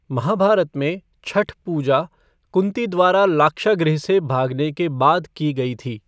महाभारत में, छठ पूजा कुँती द्वारा लाक्षागृह से भागने के बाद की गई थी।